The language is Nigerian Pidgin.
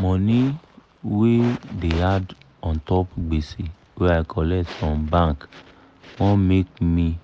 money wey da add untop gbese wey i colet from bank wan make me